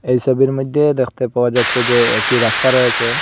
এই সবির মইধ্যে দেখতে পাওয়া যাচ্ছে যে একটি রাস্তা রয়েসে।